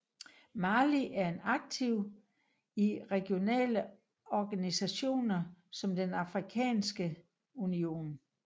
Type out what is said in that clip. Mali er aktiv i regionale organisationer som den Afrikanske Union